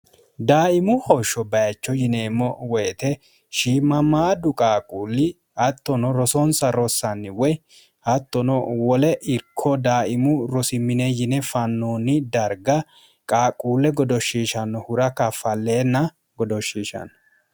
daaimu hoshsho bayicho yineemmo woyite shiimamaaddu qaaquulli hattono rosonsa rossanni woy hattono wole irko daaimu rosimine yine fannoonni darga qaaquulle godoshshiishanno hura kaffalleenna godoshshiishanno